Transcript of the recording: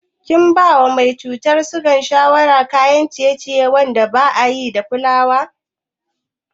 Kin bawa mai cutar siga shawarar cin kayan ciye-ciye wanda akayi da fulawa?